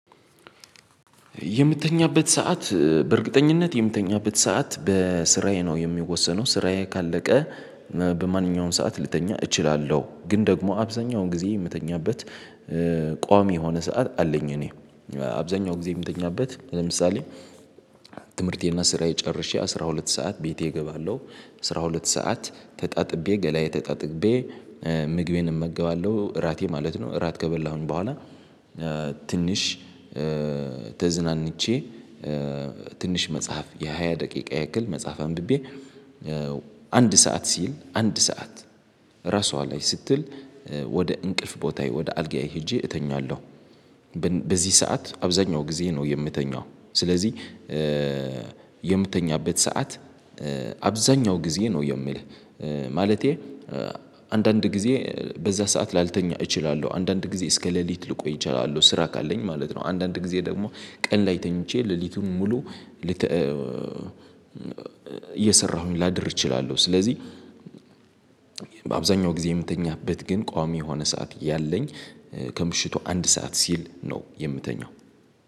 የምትተኛበት ሰዓት በእርግጠኝነት የምትተኛበት ሰዓት በስራዬ ነው የሚወሰነው ስራዬ ካለቀ በማንኛውም ሰዓት ልተኛ እችላለሁ ግን ደግሞ አብዛኛውን ጊዜ የምተኛበት ቋሚ የሆነ ሰዓት አለኝ። እኔ አብዛኛው ጊዜ የምተኛበት ለምሳሌ ትምህርቴና ስራዬ ጨርሼ አስራ ሁለት ሰዓት ቤቴ እገባለሁ። አስራ ሁለት ሰዓት ተጣጥቤ ገላዬ ተጣጥቤ ምግቤን እመገባለሁ እራቴ ማለት ነው። እራት ከበላሁኝ በኋላ ትንሽ ተዝናንቼ ትንሽ መጽሐፍ የሃያ ደቂቃ ያክል መጽሐፍ አንብቤ አንድ ሰዓት ሲል አንድ ሰዓት ራሷ ላይ ስትል ወደ እንቅልፍ ቦታዬ ወደ አልጋዬ ሄጄ እተኛለሁ። በዚህ ሰዓት አብዛኛው ጊዜ ነው የምተኛው። ስለዚህ የምተኛበት ሰዓት አብዛኛው ጊዜ ነው የምልህ። ማለቴ አንዳንድ ጊዜ በዛ ሰዓት ላልተኛ እችላለሁ አንዳንድ ጊዜ እስከ ሌሊት ልቆይ እችላለሁ ስራ ካለኝ ማለት ነው። አንዳንድ ጊዜ ደግሞ ቀን ላይ ተኝቼ ሌሊቱን ሙሉ እየሰራሁኝ ላድር እችላለሁ። ስለዚህ በአብዛኛው ጊዜ የምተኛበት ግን ቋሚ የሆነ ሰዓት ያለኝ ከምሽቱ አንድ ሰዓት ሲል ነው የምተኛው